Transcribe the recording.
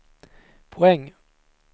poäng